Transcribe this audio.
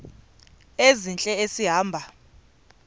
ezintle esi hamba